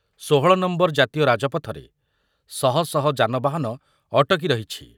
ଷୋହଳ ନମ୍ବର ଜାତୀୟ ରାଜପଥରେ ଶହ ଶହ ଯାନବାହନ ଅଟକି ରହିଛି ।